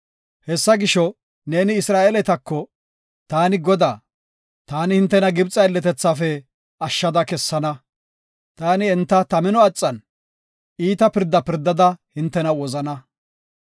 “Hesaa gisho neeni Isra7eeletako, ‘Taani Godaa. Taani hintena Gibxe aylletethaafe ashshada kessana. Taani enta ta mino axan iita pirdaa pirdada hintena wozana.